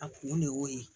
A kun de y'o ye